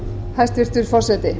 hæstvirtur forseti